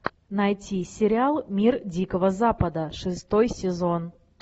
найти сериал мир дикого запада шестой сезон